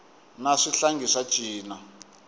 na swihlangi swa cina